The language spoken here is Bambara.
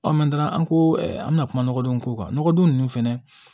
an ko an bɛna kuma nɔgɔdon ko kan nɔgɔdon ninnu fɛnɛ